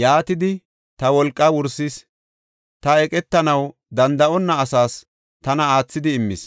yaatidi ta wolqaa wursis. Ta eqetanaw danda7onna asaas, tana aathidi immis.